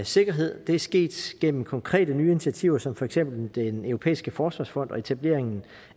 sikkerhed det er sket gennem konkrete nye initiativer som for eksempel den europæiske forsvarsfond og etableringen